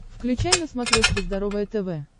включай на смотрешке здоровое тв